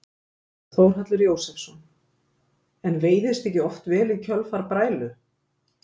Þórhallur Jósefsson: En veiðist ekki oft vel í kjölfar brælu?